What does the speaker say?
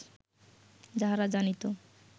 যাহারা জানিত